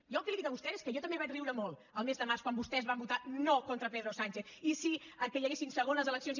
jo el que li dic a vostè és que jo també vaig riure molt al mes de març quan vostès van votar no contra pedro sánchez i sí al fet que hi haguessin segones eleccions